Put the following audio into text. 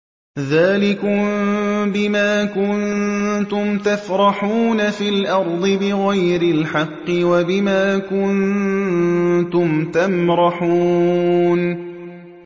ذَٰلِكُم بِمَا كُنتُمْ تَفْرَحُونَ فِي الْأَرْضِ بِغَيْرِ الْحَقِّ وَبِمَا كُنتُمْ تَمْرَحُونَ